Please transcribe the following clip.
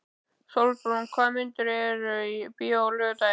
Sólbrún, hvaða myndir eru í bíó á laugardaginn?